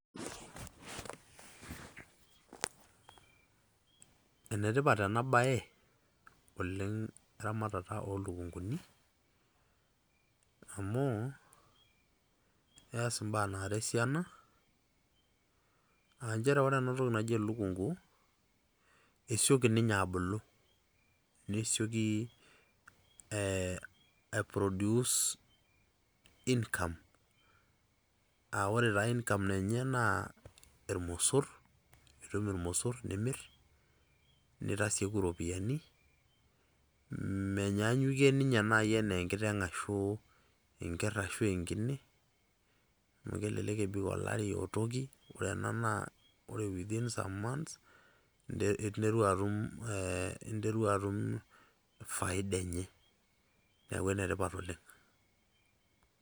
Enetipat enabae, oleng' eramatata olukunkuni, amu, eas imbaa naara esiana. Ah njere ore enatoki naji elukunku, esioki ninye abulu. Nesioki eh ai produce income ,ah ore taa income enye naa, irmosor. Itum irmosor nimir, nitaseku ropiyaiani, menyaanyukie ninye nai enaa enkiteng' ashu enker ashu enkine, amu kelelek ebik olari otoki, ore ena naa ore within some months, interua atum eh, interua atum faida enye. Neeku enetipat oleng'.